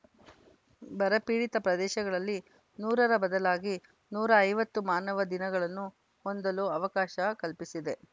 ಬರಪೀಡಿತ ಪ್ರದೇಶಗಳಲ್ಲಿ ನೂರರ ಬದಲಾಗಿ ನೂರ ಐವತ್ತು ಮಾನವ ದಿನಗಳನ್ನು ಹೊಂದಲು ಅವಕಾಶ ಕಲ್ಪಿಸಿದೆ